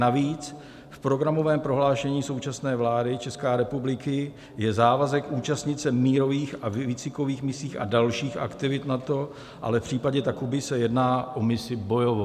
Navíc v programovém prohlášení současné vlády České republiky je závazek účastnit se mírových a výcvikových misí a dalších aktivit NATO, ale v případě Takuby se jedná o misi bojovou.